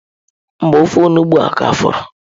Mba, ofe onugbu ka fọrọ.